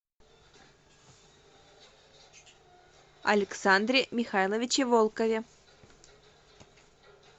александре михайловиче волкове